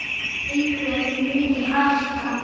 Einhver muni hætta.